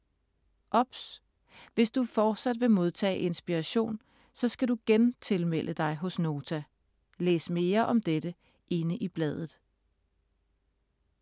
OBS: Hvis du fortsat vil modtage Inspiration, så skal du gentilmelde dig hos Nota. Læs mere om dette inde i bladet.